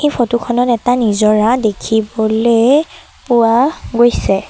Photo খনত এটা নিজৰা দেখিবলে পোৱা গৈছে।